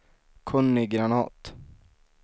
Conny Granath